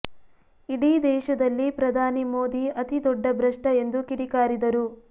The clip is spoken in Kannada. ಇಡೀ ದೇಶದಲ್ಲಿ ಪ್ರಧಾನಿ ಮೋದಿ ಅತಿ ದೊಡ್ಡ ಭ್ರಷ್ಟಎಂದು ಕಿಡಿ ಕಾರಿದರು